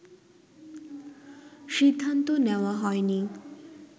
সিদ্ধান্ত নেওয়া হয়নি